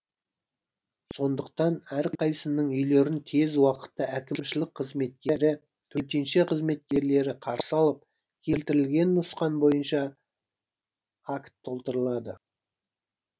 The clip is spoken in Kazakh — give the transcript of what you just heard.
сондықтан әрқайсының үйлерін тез уақытта әкімшілік қызметкері төтенше қызметкерлері қарсы алып келтірілген нұсқан бойынша акт толтырылады